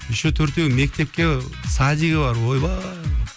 еще төртеуін мектепке ы садигі бар ойбай